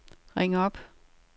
ring op